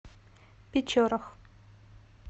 печорах